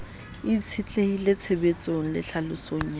itshetlehile tshebedisong le tlhalosong ya